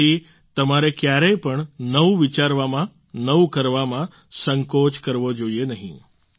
તેથી તમારે ક્યારેય પણ નવું વિચારવામાં નવું કરવામાં સંકોચ કરવો જોઈએ નહીં